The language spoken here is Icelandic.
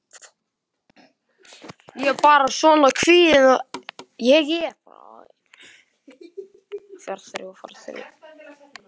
Ég er bara svona kvíðin og ráðalaus.